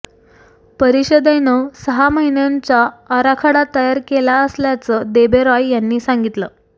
परिषदेनं सहा महिन्यांचा आराखडा तयार केला असल्याचं देबरॉय यांनी सांगितलं